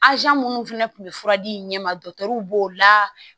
minnu fana tun bɛ fura di i ɲɛ ma b'o la